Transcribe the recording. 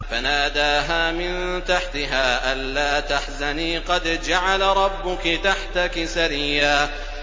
فَنَادَاهَا مِن تَحْتِهَا أَلَّا تَحْزَنِي قَدْ جَعَلَ رَبُّكِ تَحْتَكِ سَرِيًّا